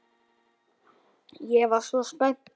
Ég var svo spennt.